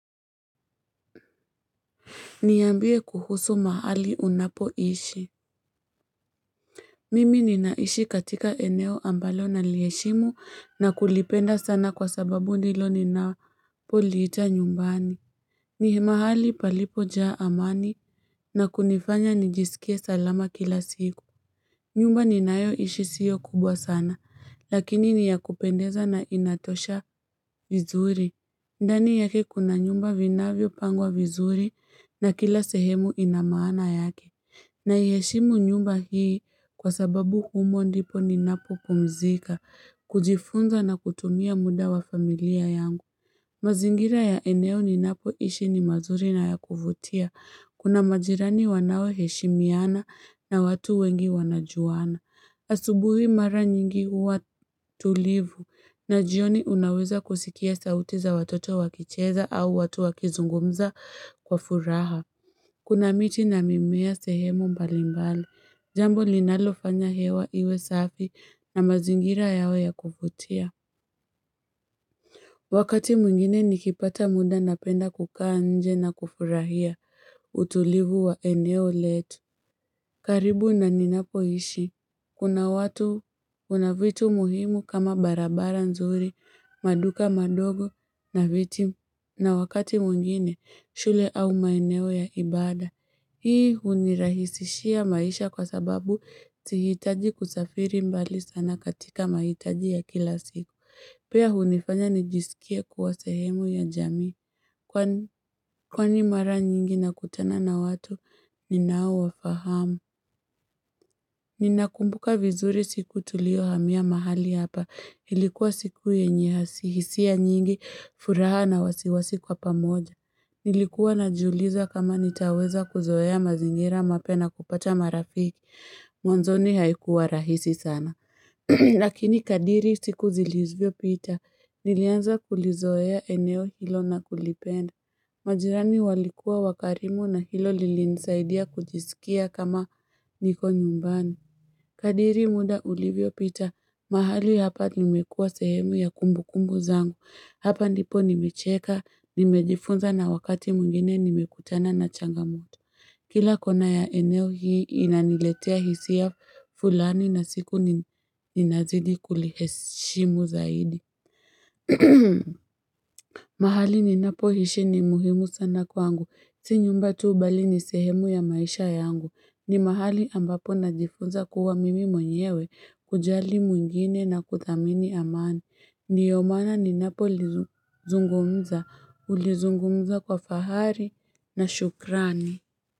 Niambie kuhusu mahali unapoishi Mimi ninaishi katika eneo ambalo naliheshimu na kulipenda sana kwa sababu ndilo ninapoliita nyumbani ni mahali palipojaa amani na kunifanya nijisikie salama kila siku nyumba ninayoishi sio kubwa sana lakini ni ya kupendeza na inatosha vizuri ndani yake kuna nyumba vinavyopangwa vizuri na kila sehemu ina maana yake. Naiheshimu nyumba hii kwa sababu humo ndipo ninapopumzika, kujifunza na kutumia muda wa familia yangu. Mazingira ya eneo ninapoishi ni mazuri na ya kuvutia. Kuna majirani wanaoheshimiana na watu wengi wanajuana. Asubuhi mara nyingi huwa tulivu na jioni unaweza kusikia sauti za watoto wakicheza au watu wakizungumza kwa furaha. Kuna miti na mimea sehemu mbali mbali, jambo linalofanya hewa iwe safi na mazingira yawe ya kuvutia. Wakati mwingine nikipata muda napenda kukaa nje na kufurahia utulivu wa eneo letu. Karibu na ninapoishi. Kuna watu, kuna vitu muhimu kama barabara nzuri, maduka madogo na viti na wakati mwingine shule au maeneo ya ibada. Hii hunirahisishia maisha kwa sababu sihitaji kusafiri mbali sana katika mahitaji ya kila siku. Pia hunifanya nijisikie kuwa sehemu ya jamii. Kwani mara nyingi nakutana na watu, ninaowafahamu. Ninakumbuka vizuri siku tuliyohamia mahali hapa, ilikuwa siku yenye hisia nyingi, furaha na wasiwasi kwa pamoja. Nilikuwa najiuliza kama nitaweza kuzoea mazingira mapya na kupata marafiki, mwanzoni haikuwa rahisi sana. Lakini kadiri siku zilivyopita, nilianza kulizoea eneo hilo na kulipenda. Majirani walikuwa wakarimu na hilo lilinisaidia kujisikia kama niko nyumbani. Kadri muda ulivyopita, mahali hapa imekua sehemu ya kumbukumbu zangu. Hapa ndipo nimecheka, nimejifunza na wakati mwingine nimekutana na changamoto. Kila kona ya eneo hii inaniletea hisia fulani na siku ninazidi kulihesimu zaidi. Mahali ninapoishi ni muhimu sana kwangu, si nyumba tu bali ni sehemu ya maisha yangu, ni mahali ambapo najifunza kuwa mimi mwenyewe, kujali mwingine na kuthamini amani, ndiyo maana ninapolizungumza, hulizungumza kwa fahari na shukrani.